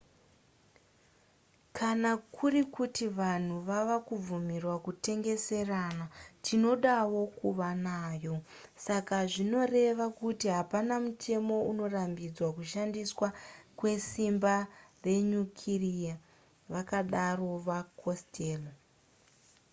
kana kuri kuti vanhu vava kubvumirwa kutengeserana tinodawo kuva nayo saka zvinoreva kuti hapana mutemo unorambidza kushandiswa kwesimba renyukireya vakadaro vacostello